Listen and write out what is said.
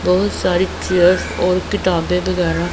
बहुत सारी चेयर्स और किताब वगैरह--